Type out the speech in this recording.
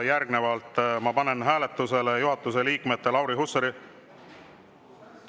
Järgnevalt ma panen hääletusele juhatuse liikmete Lauri Hussari …